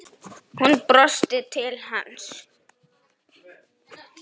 Hún brosti til hans.